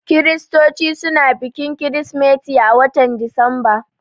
Kiristoci suna bikin kirismeti a watan Disamba